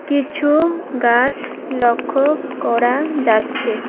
কিছু গাছ লক্ষ করা যাচ্ছে।